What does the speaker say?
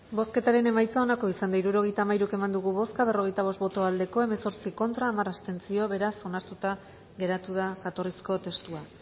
bozketaren emaitza onako izan da hirurogeita hamairu eman dugu bozka hirurogeita hamairu eman dugu bozka berrogeita bost boto aldekoa hemezortzi contra hamar abstentzio beraz onartuta geratu da jatorrizko testua